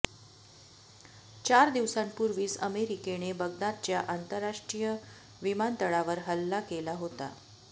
चार दिवसांपूर्वीच अमेरिकेने बगदादच्या आंतरराष्ट्रीय विमानतळावर हल्ला केला होता